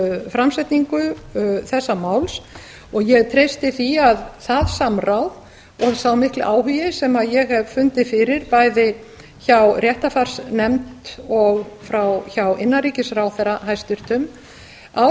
framsetningu þessa máls og ég treysti því að það samráð og sá mikli áhugi sem ég hef fundið fyrir bæði hjá réttarfarsnefnd og hjá hæstvirtum innanríkisráðherra